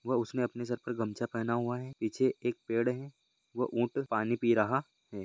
वह उसने अपने सर पर गमछा पहना हुआ है निचे एक पेड़ है वह ऊंट पानी पि रहा है।